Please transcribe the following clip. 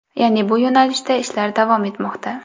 Ya’ni bu yo‘nalishda ishlar davom etmoqda.